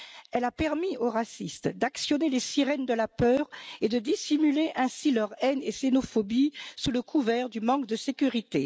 Elle a permis aux racistes d'actionner les sirènes de la peur et de dissimuler ainsi leur haine et leur xénophobie sous le couvert du manque de sécurité.